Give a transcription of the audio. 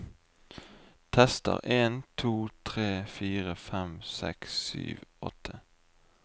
Tester en to tre fire fem seks sju åtte